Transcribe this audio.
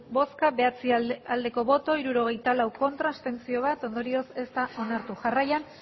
bozka bederatzi bai hirurogeita lau ez bat abstentzio ondorioz ez da onartu jarraian